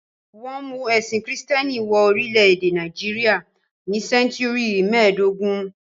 Wọ́n mú ẹ̀sìn Kìrìtẹ́ẹ́nì wọ orílẹ̀-èdè Nàìjíríà ní sẹ́ńtúrì mẹ́ẹ̀dógún.